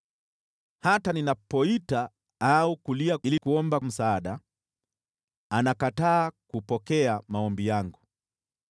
Hata ninapoita au kulia ili kuomba msaada, anakataa kupokea maombi yangu.